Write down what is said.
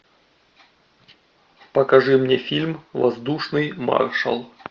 покажи мне фильм воздушный маршал